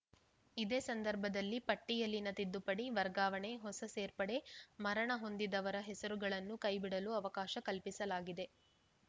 ಇದೇ ಸಂದರ್ಭದಲ್ಲಿ ಪಟ್ಟಿಯಲ್ಲಿನ ತಿದ್ದುಪಡಿ ವರ್ಗಾವಣೆ ಹೊಸ ಸೇರ್ಪಡೆ ಮರಣ ಹೊಂದಿದವರ ಹೆಸರುಗಳನ್ನು ಕೈಬಿಡಲು ಅವಕಾಶ ಕಲ್ಪಿಸಲಾಗಿದೆ